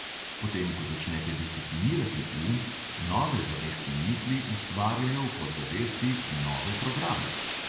Potem ko začnete disciplinirati um, nove zavestne misli ustvarjajo v podzavesti nove programe.